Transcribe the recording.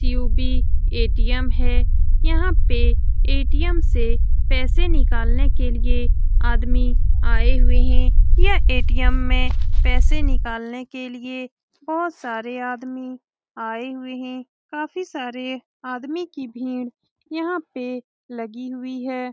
CUB. ATM. हैं। यहाँ पे ए.टी.म. से पैसे निकलने के लिए आदमी आए हुए हैं। यह ए.टी.म. में पैसे निकालने के लिए बोहोत सारे आदमी आए हुए हैं। काफी सारे आदमी की भीड़ यहाँ पे लगी हुई हैं।